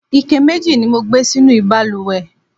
ike mẹji ni mo gbé sínú ìbalùwẹ̀